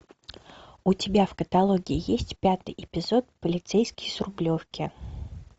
у тебя в каталоге есть пятый эпизод полицейский с рублевки